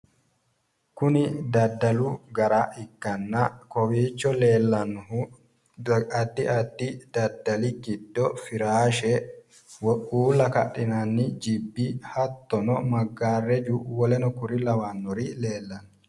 Kuni daddalu gara ikkanna kowiicho leellannohu addi addi daddali giddo firaashe woyi uulla kadhinanni jibbi hattonno maggaarraju woleno kuri lawannori leellanno.